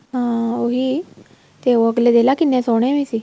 ਹਾਂ ਉਹੀ ਤੇ ਉਹ ਅੱਗਲੇ ਦੇਖਲਾ ਕਿੰਨੇ ਸੋਹਣੇ ਵੀ ਸੀ